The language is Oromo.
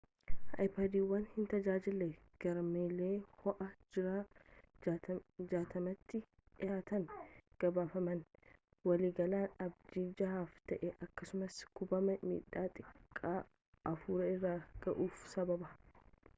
aypaadiiwwan hin tajaajille garmalee hoo’aa jiran 60’tti dhihaatan gabaafaman waliigalaan abidda jahaaf ta’e akkasumas gubama midhama xiqqaa afur irra gahuuf sababa